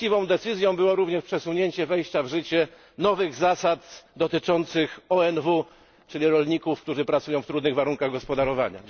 Właściwą decyzją było również przesunięcie wejścia w życie nowych zasad dotyczących ONW, czyli rolników, którzy pracują w trudnych warunkach gospodarowania.